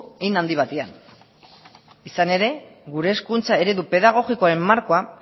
hein handi batean izan ere gure hezkuntza eredu pedagogikoaren markoa